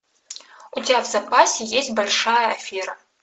у тебя в запасе есть большая афера